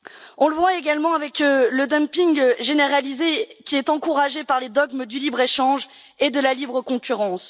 Nous le voyons également avec le dumping généralisé qui est encouragé par les dogmes du libre échange et de la libre concurrence.